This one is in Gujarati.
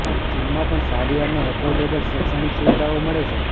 ચીનમાં પણ સારી અને અફોર્ડેબલ શૈક્ષણિક સુવિધાઓ મળે છે